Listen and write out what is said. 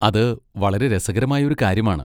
അത് വളരെ രസകരമായ ഒരു കാര്യമാണ്.